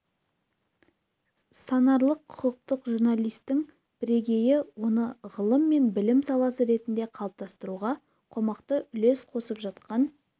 санарлық құқықтық журналистің бірегейі оны ғылым мен білім саласы ретінде қалыптастыруға қомақты үлес қосып жатқан